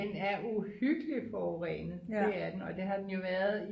den er uhyggelig forurenet det er den og det har den jo været i